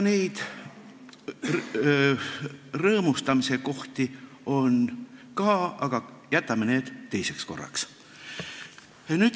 Neid rõõmustamise kohti on ka, aga jätame need teiseks korraks.